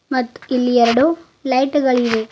ಮತ್ತ್ ಇಲ್ಲಿ ಎರಡು ಲೈಟ್ ಗಳಿವೆ.